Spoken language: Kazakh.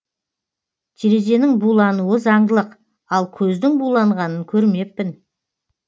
терезенің булануы заңдылық ал көздің буланғанын көрмеппін